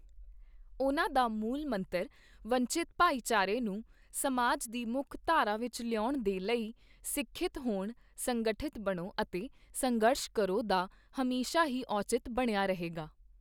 ਉਨ੍ਹਾਂ ਦਾ ਮੂਲ ਮੰਤਰ ਵੰਚਿਤ ਭਾਈਚਾਰੇ ਨੂੰ ਸਮਾਜ ਦੀ ਮੁੱਖ ਧਾਰਾ ਵਿੱਚ ਲਿਆਉਣ ਦੇ ਲਈ ਸਿੱਖਿਅਤ ਹੋਣ, ਸੰਗਠਿਤ ਬਣੋ ਅਤੇ ਸੰਘਰਸ਼ ਕਰੋ, ਦਾ ਹਮੇਸ਼ਾ ਹੀ ਔਚਿਤ ਬਣਿਆ ਰਹੇਗਾ।